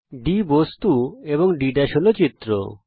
D হল বস্তু এবং D হল চিত্র